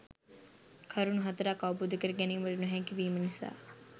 කරුණු හතරක් අවබෝධ කර ගැනීමට නොහැකිවීම නිසා